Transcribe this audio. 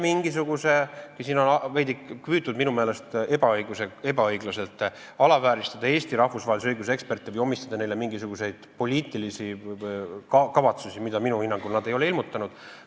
Siin on püütud minu meelest ebaõiglaselt alavääristada Eesti rahvusvahelise õiguse eksperte või omistada neile mingisuguseid poliitilisi kavatsusi, mida nad minu hinnangul ei ole ilmutanud.